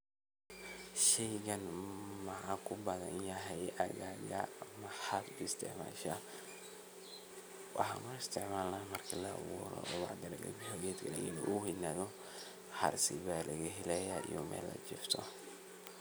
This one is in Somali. Shaygani ma ku badan yahay aaggaagga maxad u isticmashaa. Waxaan u isticmalna markii laaburo oo bacdi lakalaa bixiiyo geet kanaa u weynaado harsii baa lagahelayaa iyo meel lajiifto.